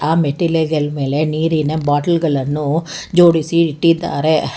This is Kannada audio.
ಆ ಮೆಟ್ಟಿಲ ಗಲ್ ಮೇಲೆ ನೀರಿನ ಬಾಟಲ್ ಗಳನ್ನು ಜೋಡಿಸಿ ಇಟ್ಟಿದ್ದಾರೆ.